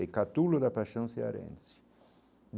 É catulo da paixão cearense.